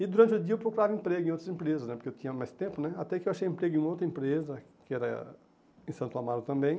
E durante o dia eu procurava emprego em outras empresas né, porque eu tinha mais tempo né, até que eu achei emprego em outra empresa, que era em Santo Amaro também.